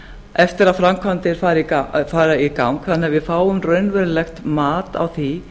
eftir að framkvæmdir fara í gang þannig að við fáum raunverulegt mat á því